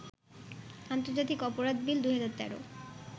আন্তর্জাতিক অপরাধ বিল ২০১৩